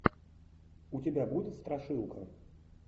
у тебя будет страшилка